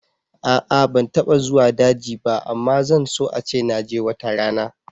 A'a ban taɓa zuwa daji ba amma zan so ace naje watarana